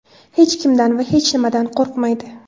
Hech kimdan va hech nimadan qo‘rqmaydi.